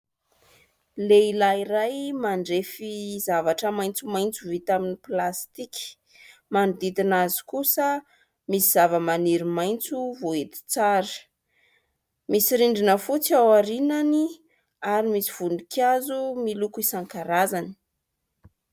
Lehilahy iray mandrefy zavatra maitsomaitso vita amin'ny plastika. Manodidina azy kosa misy zava-maniry maitso voahety tsara. Misy rindrina fotsy ao aorinany ary misy voninkazo miloko isan-karazany.